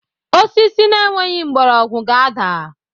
Osisi na-enweghị mgbọrọgwụ ga-ada.